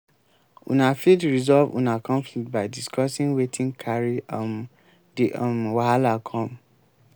una fit resolve una conflict by discussing wetin carry um di um wahala come